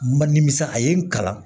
Man nimisa a ye n kalan